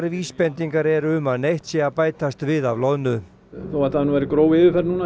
vísbendingar eru um að neitt sé að bætast við af loðnu þó þetta hafi nú verið gróf yfirferð